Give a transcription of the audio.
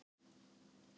Öll í röð.